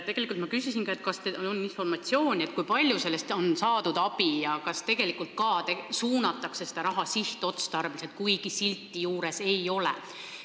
Tegelikult ma küsisin ka seda, kas teil on informatsiooni, kui palju sellest on abi olnud ja kas tegelikult ka suunatakse seda raha sihtotstarbeliselt, kuigi silti juures ei ole.